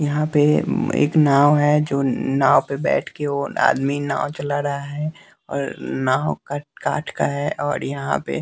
यहाँ पे एक नाव है जो नाव पर बैठ के आदमी नाव चला रहा है और नाव कठ काठ का है और यहाँ पे--